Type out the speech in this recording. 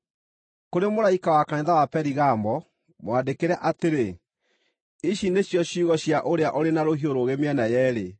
“Kũrĩ mũraika wa kanitha wa Perigamo mwandĩkĩre atĩrĩ: Ici nĩcio ciugo cia ũrĩa ũrĩ na rũhiũ rũũgĩ mĩena yeerĩ.